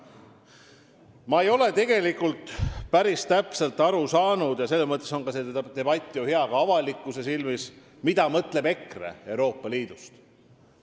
Ma ei ole tegelikult päris täpselt aru saanud – selles mõttes on see debatt ju hea ka avalikkuse silmis –, mida mõtleb EKRE Euroopa Liidust.